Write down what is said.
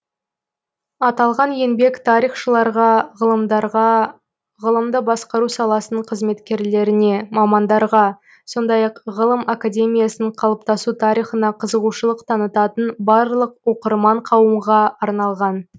аталған еңбек тарихшыларға ғалымдарға ғылымды басқару саласының қызметкерлеріне мамандарға сондай ақ ғылым академиясының қалыптасу тарихына қызығушылық танытатын барлық оқырман қауымға арналған